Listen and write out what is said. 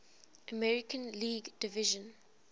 american league division